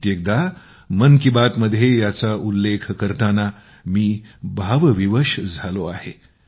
कित्येकदा मन की बात मध्ये याचा उल्लेख करताना मी भावविवश झालो आहे